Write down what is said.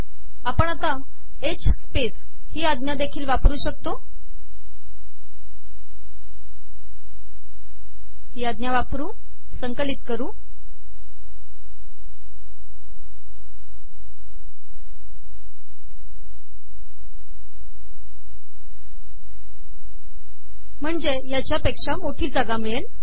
आपण एच सपेस ही आजादेखील वापर शकतो तयामुळे याहून अिधक जागा िमळेल